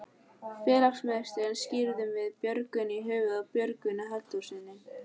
Félagsmiðstöðina skírðum við Björgvin í höfuðið á Björgvini Halldórssyni.